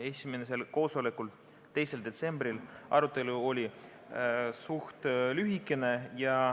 Esimesel koosolekul, 2. detsembril, oli arutelu suhteliselt lühikene.